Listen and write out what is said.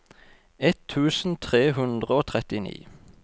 ett tusen tre hundre og trettini